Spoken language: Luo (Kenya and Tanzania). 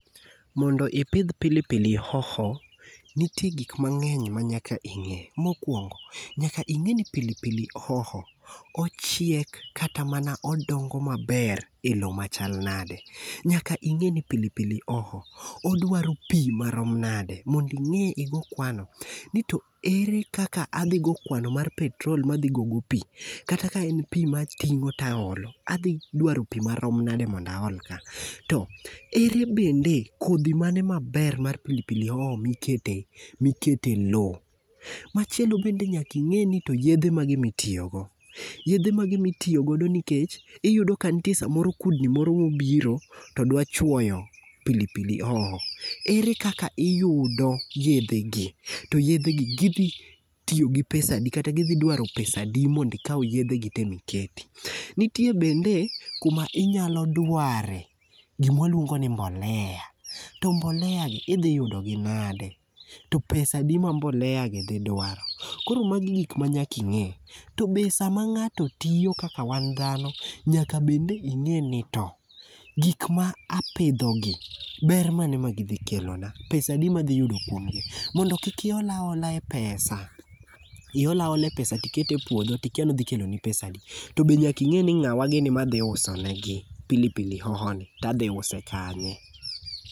Mondo ipidh pili pili hoho, nitie gik mang'eny ma nyaka ing'e. Mokwongo, nyaka ing'e ni pili pili hoho ochiek kata mana odongo maber e lo machal nande. Nyaka ing'e ni pili pili hoho odwaro pi marom nade. Mondi ing'e igo kwano. Nito ere kaka adhi go kwano mar petrol madhi gogo pi. Kata ka en pi mating'o taolo, adhi dwaro pi marom nade mondo aol ka. To ere bende kodhi mane maber mar pili pili hoho mikete lo. Machielo bende nyaka ing'e ni to yedhe mage mitiyogo. Yedhe mage mitiyogodo nikech iyudo ka nitie samoro kudni moro mobiro to dwa chwoyo pili pili hoho, ere kaka iyudo yedhe gi. To yedhe gi gi dhi tiyo gi pesa adi kata gidhi dwaro pesa adi mondi ikaw yedhe gi te mikete. Nitie bende kuma inya dware gima waluongo ni mbolea. To mbolea gi idhi yudi gi nade. To pesa adi ma mbolea gi dhi dwaro? Koro magi gik manyaka ing'e. To be sama ng'ato tiyo kaka wan dhano, nyaka bende ing'e ni to, gik ma apidho gi, ber mane magidhi kelo na. Pesa adi madhi yudo kuomgi. Mondo kik iol aola e pesa. Mondo kik Iol aola pesa iol aola pesa tiket e puodho to ikia ni odhi kelo ni pesa adi. To be nyaka ing'e ni ng'awa gini madhi wuse negi pili pili hoho ni to adhi use kanye?